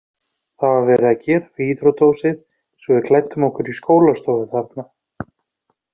Það var verið að gera við íþróttahúsið svo við klæddum okkur í skólastofu þarna.